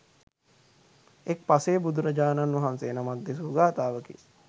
එක් පසේ බුදුරජාණන් වහන්සේ නමක් දෙසූ ගාථාවකි.